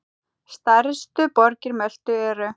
Stærstu borgir Möltu eru